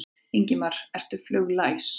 Ingimar: Ertu fluglæs?